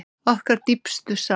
Okkar dýpstu samúð.